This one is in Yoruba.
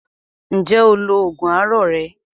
Ǹjẹ́ o lo oògùn àárọ̀ rẹ?